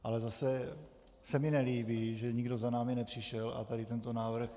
Ale zase se mi nelíbí, že nikdo za námi nepřišel a tady tento návrh...